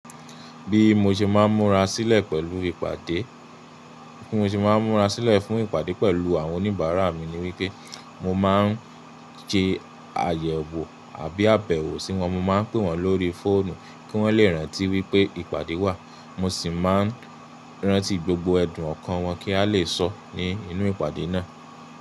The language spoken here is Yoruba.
Bí mo ṣe máa ń múra sílẹ̀ pẹ̀lú ìpàdé, bí mo ṣe máa ń múra sílẹ̀ fún ìpàdé pẹ̀lú àwọn oníbàárà mi ni wípé mo máa ń se ayẹwo àbí àbẹ̀wò sí wọn. Mo máa ń pe wọ́n lórí fóònù kí wọ́n lè rántí wípé ìpàdé wà, mo sì máa ń rántí gbogbo ẹ̀dùn ọkàn wọn kí a lè sọ ní inú ìpàdé náà.